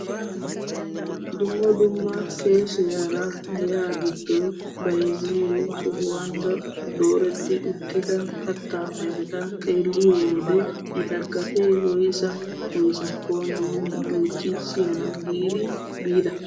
Dumma dumma keeshshiyaara giya giddon bayzziyoo sohuwaan dooretti uttida kattaa ayfeta xeelliyoo wode eta gatee woyssa woyssakko nuuni oychchi siyana giidi biida.